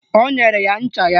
O nyere ya ncha ya